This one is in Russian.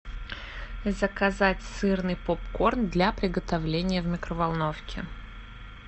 заказать сырный попкорн для приготовления в микроволновке